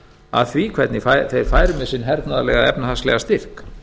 að því hvernig þeir færu með sinn hernaðarlega eða efnahagslega styrk